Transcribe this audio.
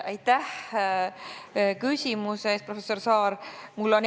Aitäh küsimuse eest, professor Saar!